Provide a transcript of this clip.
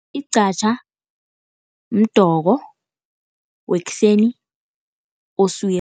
Iqhatjha mdoko, wekuseni oswiri.